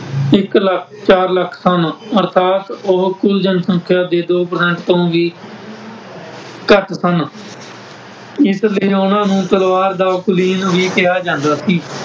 ਇੱਕ ਲੱਖ, ਚਾਰ ਲੱਖ, ਸਨ ਅਰਥਾਤ ਉਹ ਕੁੱਲ ਜਨਸੰਖਿਆ ਦੇ ਦੋ percent ਤੋਂ ਵੀ ਘੱਟ ਸਨ । ਇਸ ਲਈ ਉਹਨਾਂ ਨੂੰ ਤਲਵਾਰ ਦਾ ਕੁਲੀਨ ਵੀ ਕਿਹਾ ਜਾਂਦਾ ਸੀ ।